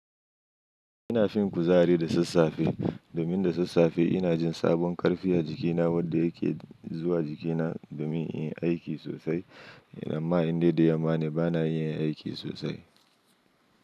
Ina fin kuzari da sassafe, domin da sassafe ina jin sabon karfi a jikina wadda yake zuwa jikina domin in yi aiki sosai. Amma inda da yamma ne bana yin aiki sosai.